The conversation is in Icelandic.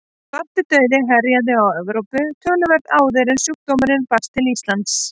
Svartidauði herjaði á Evrópu töluvert áður en sjúkdómurinn barst til Íslands.